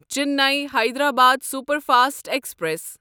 Chennai Hyderabad superfast express